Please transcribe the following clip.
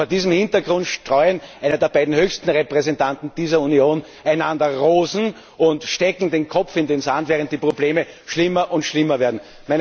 Vor diesem Hintergrund streuen die beiden höchsten Repräsentanten dieser Union einander Rosen und stecken den Kopf in den Sand, während die Probleme schlimmer und schlimmer werden.